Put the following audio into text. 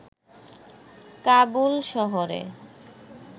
কাবুল শহরে